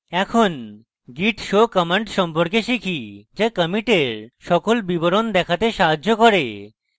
এখন git show command সম্পর্কে শিখি যা কমিটের সকল বিবরণ দেখতে সাহায্য করে